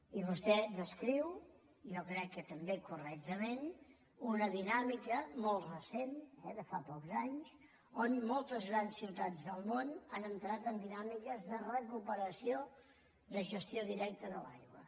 i vostè descriu jo crec que també correctament una dinàmica molt recent de fa pocs anys on moltes grans ciutats del món han entrat en dinàmiques de recuperació de gestió directa de l’aigua